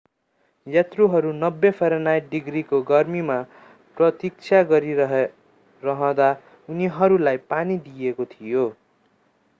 यात्रुहरू 90 फरेनहाइट डिग्रीको गर्मीमा प्रतीक्षा गरिरहँदा उनीहरूलाई पानी दिइएको थियो।